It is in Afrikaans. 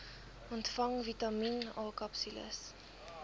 ontvang vitamien akapsules